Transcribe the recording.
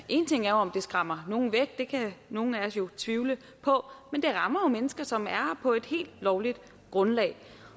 én ting er om det skræmmer nogen væk det kan nogle af os jo tvivle på men det rammer mennesker som er her på et helt lovligt grundlag